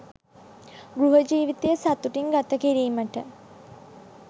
ගෘහ ජීවිතය සතුටින් ගත කිරීමට